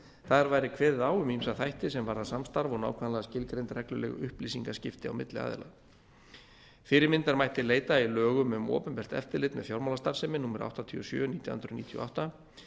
þar væri kveðið á um ýmsa þætti sem varða samstarf og nákvæmlega skilgreind regluleg upplýsingaskipti á milli aðila fyrirmyndar mætti leita í lögum um opinbert eftirlit með fjármálastarfsemi númer áttatíu og sjö nítján hundruð níutíu og átta